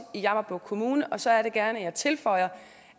i jammerbugt kommune og så er det gerne at jeg tilføjer